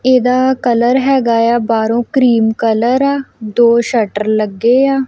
ਇਹਦਾ ਕਲਰ ਹੈਗਾ ਆ ਬਾਹਰੋਂ ਕ੍ਰੀਮ ਕਲਰ ਆ ਦੋ ਸ਼ਟਰ ਲੱਗੇ ਆ।